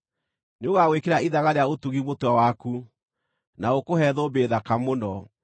Nĩũgagwĩkĩra ithaga rĩa ũtugi mũtwe waku, na ũkũhe thũmbĩ thaka mũno.”